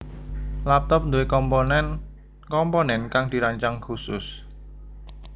Laptop nduwe komponen komponen kang dirancang khusus